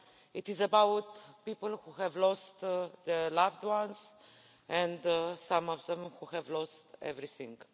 it is about people who have lost their loved ones and some of them who have lost everything.